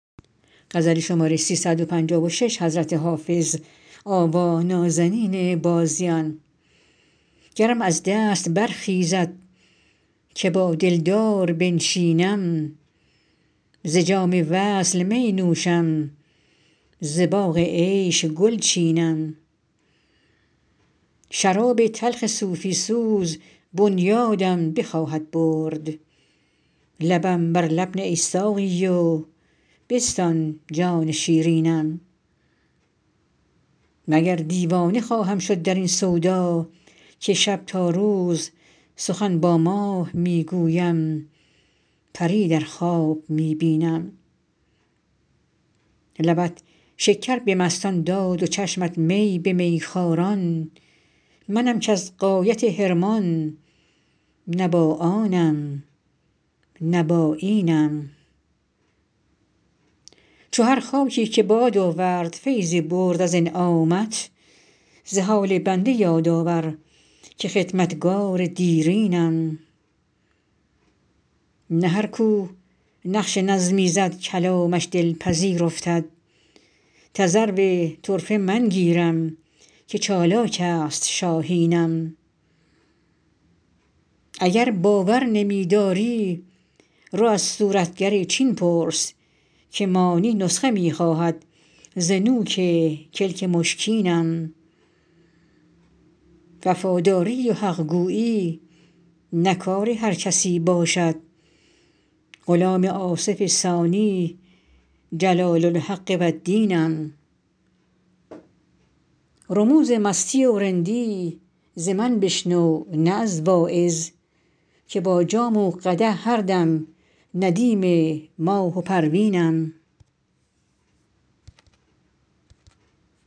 گرم از دست برخیزد که با دلدار بنشینم ز جام وصل می نوشم ز باغ عیش گل چینم شراب تلخ صوفی سوز بنیادم بخواهد برد لبم بر لب نه ای ساقی و بستان جان شیرینم مگر دیوانه خواهم شد در این سودا که شب تا روز سخن با ماه می گویم پری در خواب می بینم لبت شکر به مستان داد و چشمت می به میخواران منم کز غایت حرمان نه با آنم نه با اینم چو هر خاکی که باد آورد فیضی برد از انعامت ز حال بنده یاد آور که خدمتگار دیرینم نه هر کو نقش نظمی زد کلامش دلپذیر افتد تذرو طرفه من گیرم که چالاک است شاهینم اگر باور نمی داری رو از صورتگر چین پرس که مانی نسخه می خواهد ز نوک کلک مشکینم وفاداری و حق گویی نه کار هر کسی باشد غلام آصف ثانی جلال الحق و الدینم رموز مستی و رندی ز من بشنو نه از واعظ که با جام و قدح هر دم ندیم ماه و پروینم